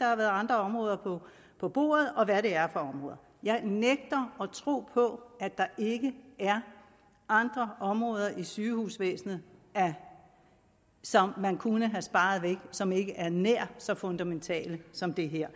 har været andre områder på bordet og hvad det er for områder jeg nægter at tro på at der ikke er andre områder i sygehusvæsenet som man kunne have sparet væk som ikke er nær så fundamentale som det her